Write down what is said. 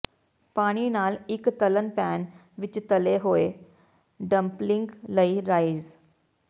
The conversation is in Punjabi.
ਪਾਣੀ ਨਾਲ ਇੱਕ ਤਲ਼ਣ ਪੈਨ ਵਿੱਚ ਤਲੇ ਹੋਏ ਡਮਪਲਲਿੰਗ ਲਈ ਰਾਈਜ਼